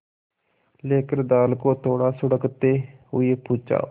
लेकर दाल को थोड़ा सुड़कते हुए पूछा